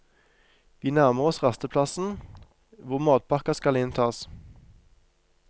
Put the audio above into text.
Vi nærmer oss rasteplassen, hvor matpakker skal inntas.